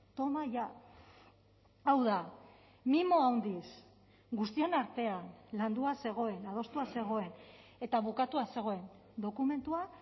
toma ya hau da mimo handiz guztion artean landua zegoen adostua zegoen eta bukatua zegoen dokumentua